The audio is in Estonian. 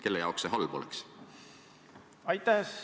Kelle jaoks see halb oleks?